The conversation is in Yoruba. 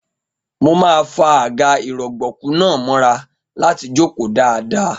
Mo máa fa àga-ìrọ̀gbọ̀kú náà mọ́ra láti jókòó dáadáa.